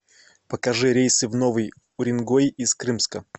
покажи рейсы в новый уренгой из крымска